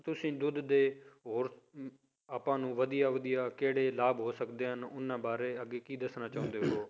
ਤੁਸੀਂ ਦੁੱਧ ਦੇ ਹੋਰ ਹਮ ਆਪਾਂ ਨੂੰ ਵਧੀਆ ਵਧੀਆ ਕਿਹੜੇ ਲਾਭ ਹੋ ਸਕਦੇ ਹਨ ਉਹਨਾਂ ਬਾਰੇ ਅੱਗੇ ਕੀ ਦੱਸਣਾ ਚਾਹੁੰਦੇ ਹੋ